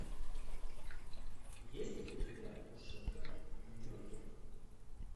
есть ли у тебя кушетка в нью йорке